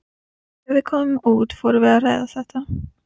Þegar við komum út fórum við að ræða þetta.